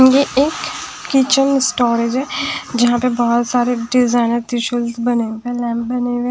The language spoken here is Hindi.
ये एक किचन स्टोरेज है जहां पे बहुत सारे डिजाइनर टिश्यूस बनें हुए लैंप बने हुए --